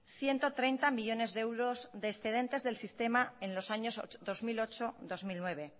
ciento treinta millónes de euros de excedentes del sistema en los años dos mil ocho dos mil nueve